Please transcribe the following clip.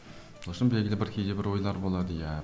ол үшін белгілі бір кейде бір ойлар болады иә